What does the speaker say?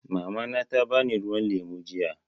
Mamana ta bani ruwan lemu jiya.